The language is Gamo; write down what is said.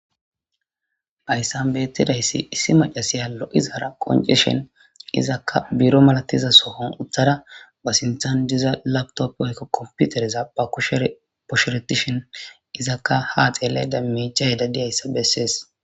Bayssan beettidayssi issi macasiya lo7izaara qoncishen izakka buro malatiza sohon utthara ba sinthan diza laptop ykka komputereza ba kushere posheretishen izakka haa xelle da micha hedadiyayssa bessees.